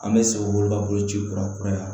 An bɛ sɛgɛn olu ka boloci kura kuraya